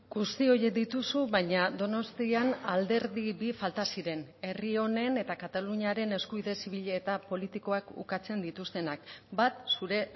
guzti horiek dituzu baina donostian alderdi bi falta ziren herri honen eta kataluniaren eskubide zibil eta politikoak ukatzen dituztenak bat zure